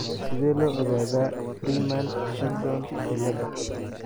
Sidee loo ogaadaa Freeman Shildon ciilaada?